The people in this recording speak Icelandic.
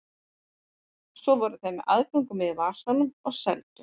Svo voru þeir með aðgöngumiða í vasanum og seldu.